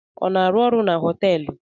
Ọ na-arụ ọrụ na họtelụ?